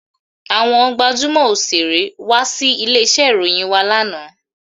Àwọn gbajúmò Òṣeré wá sí ilé iṣẹ́ ìròyìn wá lánàá.